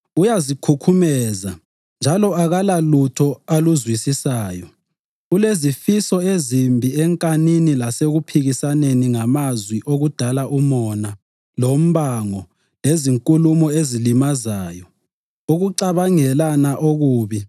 uyazikhukhumeza njalo akulalutho aluzwisisayo. Ulezifiso ezimbi enkanini lasekuphikisaneni ngamazwi okudala umona, lombango, lezinkulumo ezilimazayo, ukucabangelana okubi